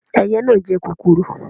Ẹyẹ na jẹ kòkòrò